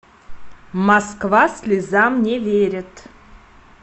москва слезам не верит